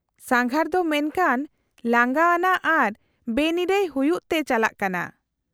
-ᱥᱟᱸᱜᱷᱟᱨ ᱫᱚ ᱢᱮᱱᱠᱷᱟᱱ ᱞᱟᱸᱜᱟ ᱟᱱᱟᱜ ᱟᱨ ᱵᱮᱱᱤᱨᱟᱹᱭ ᱦᱩᱭᱩᱜ ᱛᱮ ᱪᱟᱞᱟᱜ ᱠᱟᱱᱟ ᱾